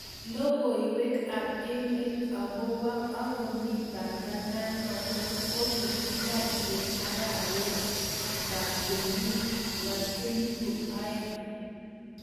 Logoiwek ab emet agob akomi panganan natong kogogingany en arawetab kenyit ab elbu aeng